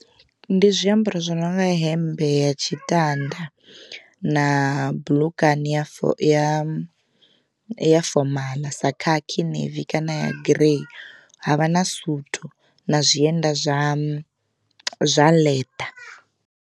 Ndi zwiambaro zwi no nga hemmbe ya tshitanda na buḽukani ya ya ya fomaḽa sa khakhi navy kana ya girei havha na suthu na zwienda zwa zwa ḽeḓa.